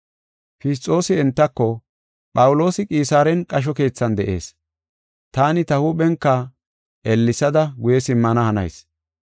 Fisxoosi entako, “Phawuloosi, Qisaaren qasho keethan de7ees; taani ta huuphenka ellesada guye simmana hanayis.